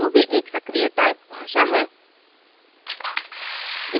ruby एक सक्रीय typed भाषा है